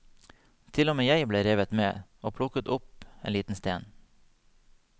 Til og med jeg ble revet med, og plukket opp en liten stein.